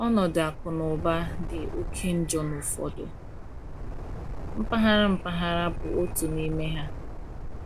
Ọnọdụ akụ na ụba dị oke njọ n’ụfọdụ mpaghara mpaghara bụ otu n’ime ha.